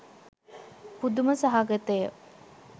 පුදුම සහගතය